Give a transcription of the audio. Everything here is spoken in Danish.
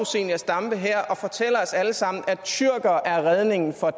zenia stampe her og fortæller os alle sammen at tyrkere er redningen for